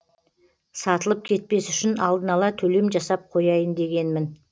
сатылып кетпес үшін алдын ала төлем жасап қояйын дегенмін